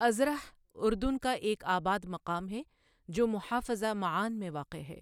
Udhruh اردن کا ایک آباد مقام ہے جو محافظہ معان میں واقع ہے